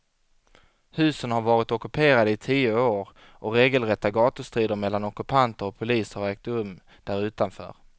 Husen har varit ockuperade i tio år och regelrätta gatustrider mellan ockupanter och polis har ägt rum därutanför.